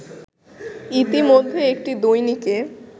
ইত্যেমধ্যে একটি দৈনিকে